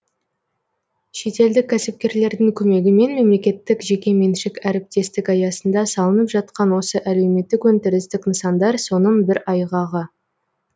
шетелдік кәсіпкерлердің көмегімен мемлекеттік жекеменшік әріптестік аясында салынып жатқан осы әлеуметтік өндірістік нысандар соның бір айғағы